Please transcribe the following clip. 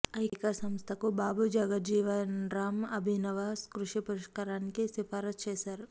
ICAR సంస్థకు బాబు జగ్జీవన్రామ్ అభినవ కృషి పురస్కారానికి సిఫారసు చేశారు